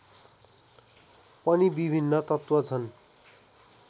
पनि विभिन्न तत्त्व छन्